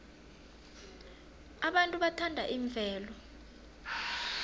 abantu bathanda imvelo